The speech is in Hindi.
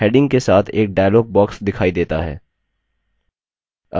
delete cells heading के साथ एक dialog box दिखाई देता है